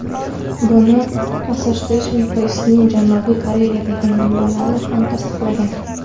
Buni Associated Press’ning Janubiy Koreyadagi manbalari ham tasdiqlagan.